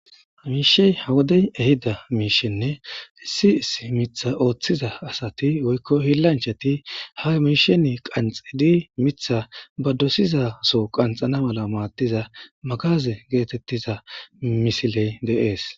miishey ha wodey ehida miishenne issi issi mitha ooththiza asati woykko hilanchati ha miisheni qanxidi mitha ba dosizaso qanxana mala maadtiza magaze geetettiza misiley de'ees